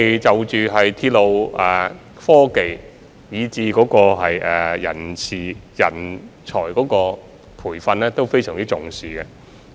就着鐵路科技，以至人事及人才培訓等，我們都相當重視。